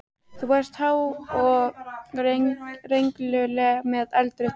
Þú varst há og rengluleg með eldrautt hár.